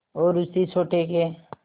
और उसी सोटे के